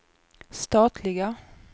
statliga